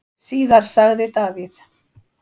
Síðar sagði Davíð: